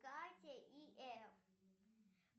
катя и эф